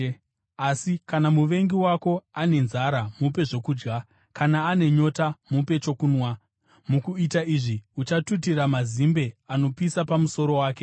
Asi: “Kana muvengi wako ane nzara mupe zvokudya, kane ane nyota mupe chokunwa. Mukuita izvi, uchatutira mazimbe anopisa pamusoro wake.”